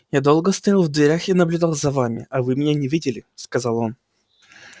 я долго стоял в дверях и наблюдал за вами а вы меня не видели сказал он